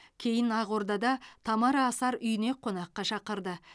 кейін ақордада тамара асар үйіне қонаққа шақырды